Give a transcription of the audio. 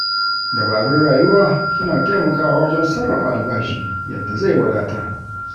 Dabarun rayuwa suna taimakawa wajen sarrafa albashi yadda zai wadatar.